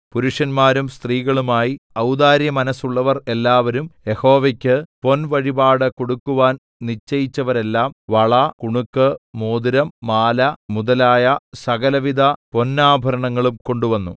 പുരുഷന്മാരും സ്ത്രീകളുമായി ഔദാര്യമനസ്സുള്ളവർ എല്ലാവരും യഹോവയ്ക്ക് പൊൻവഴിപാട് കൊടുക്കുവാൻ നിശ്ചയിച്ചവരെല്ലാം വള കുണുക്ക് മോതിരം മാല മുതലായ സകലവിധ പൊന്നാഭരണങ്ങളും കൊണ്ടുവന്നു